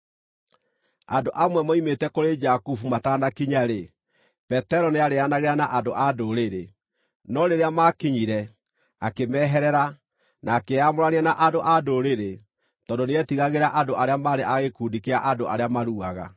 Andũ amwe moimĩte kũrĩ Jakubu matanakinya-rĩ, Petero nĩarĩĩanagĩra na andũ-a-Ndũrĩrĩ, no rĩrĩa maakinyire, akĩmeherera, na akĩĩamũrania na andũ-a-Ndũrĩrĩ tondũ nĩetigagĩra andũ arĩa maarĩ a gĩkundi kĩa andũ arĩa maruaga.